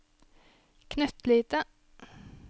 knøttlille